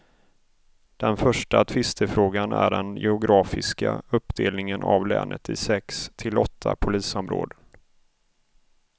Den första tvistefrågan är den geografiska uppdelningen av länet i sex till åtta polisområden.